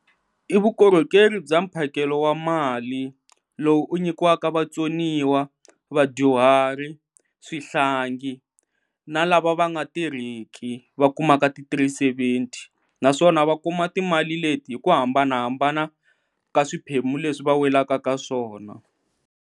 I vukorhokeri bya mphakelo wa mali lowu u nyikiwaka vatsoniwa, vadyuhari, swihlangi na lava va nga tirhiki va kumaka ti three-seventy naswona va kuma timali leti hi ku hambanahambana ka swiphemu leswi va welaka ka swona.